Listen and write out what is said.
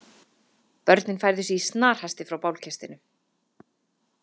Börnin færðu sig í snarhasti frá bálkestinum.